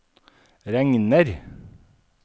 regner